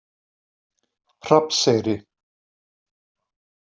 Hrafnseyri